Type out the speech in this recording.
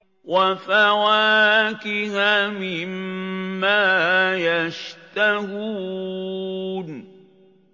وَفَوَاكِهَ مِمَّا يَشْتَهُونَ